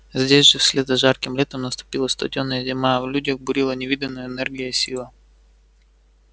здесь же вслед за жарким летом наступила студёная зима а в людях бурлила невиданная энергия и сила